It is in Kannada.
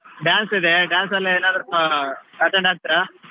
Dance ಇದೆ dance ಅಲ್ಲಿ ಏನಾದ್ರು ಆ attend ಆಗ್ತೀರಾ?